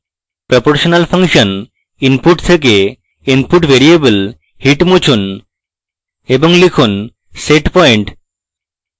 proportional function input থেকে input variable heat মুছুন এবং লিখুন setpoint